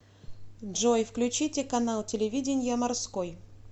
джой включите канал телевидения морской